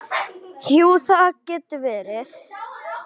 Jú, það getur verið það.